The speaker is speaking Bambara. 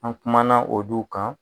An kumana o duw kan.